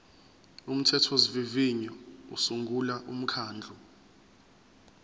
umthethosivivinyo usungula umkhandlu